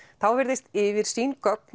virðist yfirsýn gögn